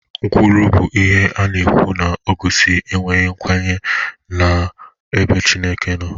Nkwulu bụ ihe a na-ekwu na-egosi enweghị nkwanye ùgwù n'ebe Chineke nọ.